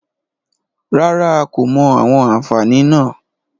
Rárá, a kò mọ àwọn àfààní náà.